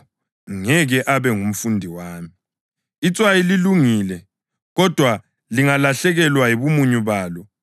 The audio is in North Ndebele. Itswayi lilungile kodwa lingalahlekelwa yibumunyu balo, lingavuselelwa kanjani na?